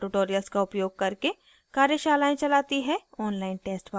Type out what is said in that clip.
spoken tutorials का उपयोग करके कार्यशालाएं चलाती है